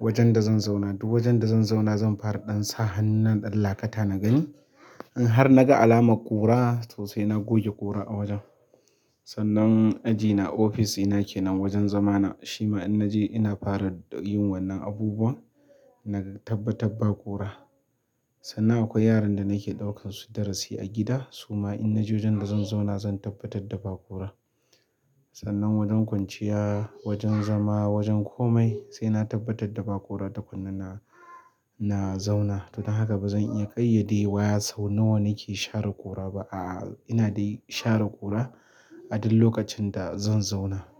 Wajen da zan zauna duk wajen da zan zauna zan fara ɗan sa hannun ɗan lakata na gani. In har naga alamar ƙura to sai na goge ƙura a wajen. Sannan ajina, ofisina ke nan wajen zamana, shi ma in naje ina fara yin wannan abubuwan. Naga tabbatar ba ƙura. Sannan akwai yaran da nake ɗaukar su darasi a gida. Su ma in naje wajen da zan zauna zan tabbatar da ba ƙura. Sannan wajen kwanciya, wajen zama, wajen komai sai na tabbatar da ba ƙura takunna na zauna. To don haka ba zan iya ƙayyadewa sau nawa nake share ƙura ba. A'a, ina dai share ƙura a duk lokacin da zan zauna.